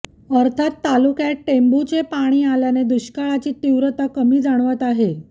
अर्थात तालुक्यात टेंभूचे पाणी आल्याने दुष्काळाची तीव्रता कमी जाणवत आहे